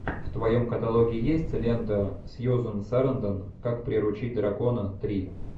в твоем каталоге есть лента сьюзан сарандон как приручить дракона три